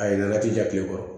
A yɛlɛla ti ja kilekɔrɔ